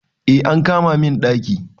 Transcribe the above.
Eh an kama min daki